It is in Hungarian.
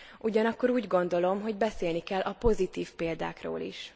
Ugyanakkor úgy gondolom, hogy beszélni kell a pozitív példákról is.